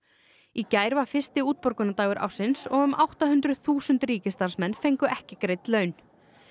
í gær var fyrsti ársins og um átta hundruð þúsund ríkisstarfsmenn fengu ekki greidd laun